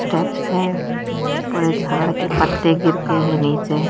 steps है पूरा झाड़ के पत्ते गिरके हैं नीचे--